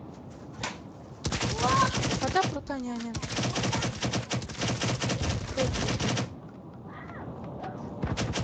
вода фрутоняня пять литров